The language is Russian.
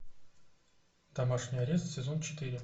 домашний арест сезон четыре